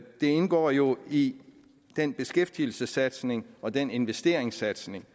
indgår jo i den beskæftigelsessatsning og den investeringssatsning